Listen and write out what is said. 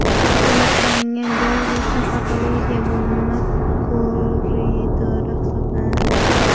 Surat olingan joy esa patologiya bo‘limi koridori hisoblanadi.